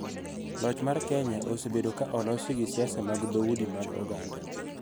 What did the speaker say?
Loch mar Kenya osebedo ka olosi gi siasa mag dhoudi mag oganda.